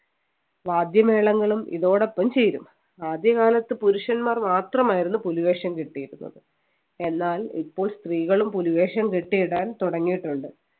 വാദ്യമേളങ്ങളും ഇതോടൊപ്പം ചേരും ആദ്യകാലത്ത് പുരുഷന്മാർ മാത്രമായിരുന്നു പുലിവേഷം കെട്ടിയിരുന്നത് എന്നാൽ ഇപ്പോൾ സ്ത്രീകളും പുലിവേഷം കെട്ടിയിടാൻ തുടങ്ങിയിട്ടുണ്ട്